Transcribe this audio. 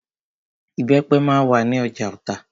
Ìbẹ́pẹ máa wà ní ọjà Ota.